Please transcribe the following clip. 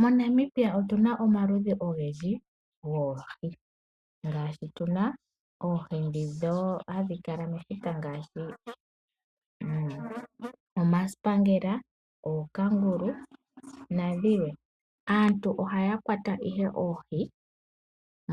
MoNamibia otu na omaludhi ogendji goohi, ngaashi tu na oohi ndhi hadhi kala mefuta ngaashi omasipangela, ookangulu nadhilwe. Aantu ohaya kwata ihe oohi